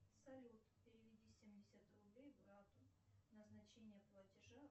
салют переведи семьдесят рублей брату назначение платежа